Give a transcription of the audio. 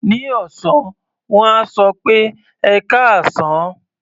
Ní ọ̀sán, wọ́n á sọ pé "ẹkáàsán".